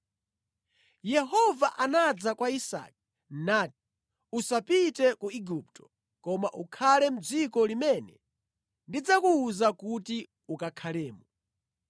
Yehova anadza kwa Isake nati, “Usapite ku Igupto; koma ukhale mʼdziko limene ndidzakuwuza kuti ukakhalemo.